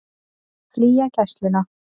Vilja flytja Gæsluna